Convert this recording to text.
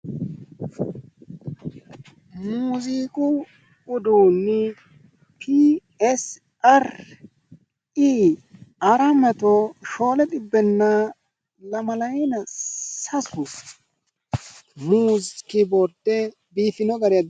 Muziiqu uduunni pii essi arri ii aratti mato shoole xibbenna lamalayiina sasu kiboorde biifino gari.